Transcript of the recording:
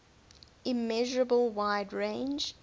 immeasurable wide range